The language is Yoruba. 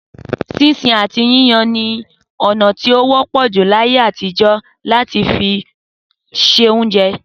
Sísun àti yíyan ni ọ̀nà ti o wọ́pọ̀ jù ni ayé àtijọ́ láti fi ṣe oúnjẹ